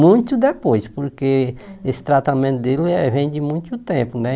Muito depois, porque esse tratamento dele é vem de muito tempo, né?